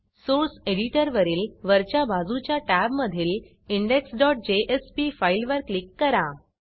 source एडिटरवरील वरच्या बाजूच्या टॅबमधील indexजेएसपी फाईलवर क्लिक करा